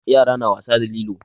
Yara na wasa da lilo.